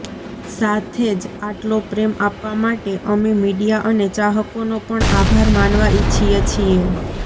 સાથે જ આટલો પ્રેમ આપવા માટે અમે મીડિયા અને ચાહકોનો પણ આભાર માનવા ઇચ્છીએ છીએ